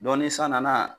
ni san nana